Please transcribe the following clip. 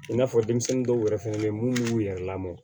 I n'a fɔ denmisɛnnin dɔw yɛrɛ fɛnɛ bɛ ye minnu y'u yɛrɛ lamɔ